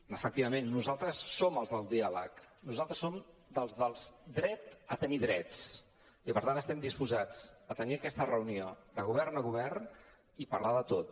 efectivament nosaltres som els del diàleg nosaltres som dels del dret a tenir drets i per tant estem disposats a tenir aquesta reunió de govern a govern i parlar de tot